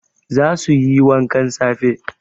Za su yi wankan safe